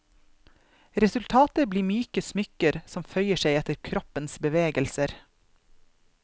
Resultatet blir myke smykker som føyer seg etter kroppens bevegelser.